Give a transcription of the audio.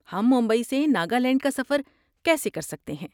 ہم ممبئی سے ناگالینڈ کا سفر کیسے کر سکتے ہیں؟